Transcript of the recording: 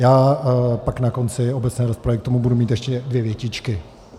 Já pak na konci obecné rozpravy k tomu budu mít ještě dvě větičky.